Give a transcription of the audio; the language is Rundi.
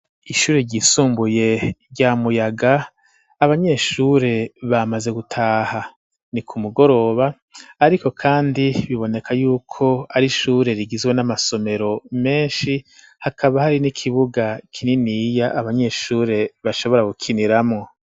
Ishure ryisumbuye rya muyaga abanyeshure bamaze gutaha ni ku mugoroba ,ariko kandi biboneka yuko ari ishure rigizwe n'amasomero menshi hakaba hari n'ikibuga kininiya abanyeshure bashobora gukiniramwo.